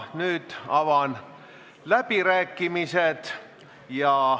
Nüüd avan läbirääkimised.